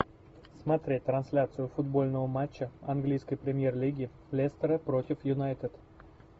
смотреть трансляцию футбольного матча английской премьер лиги лестера против юнайтед